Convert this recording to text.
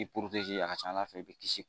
a ka ca ala fɛ i bi kisi